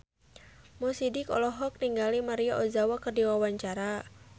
Mo Sidik olohok ningali Maria Ozawa keur diwawancara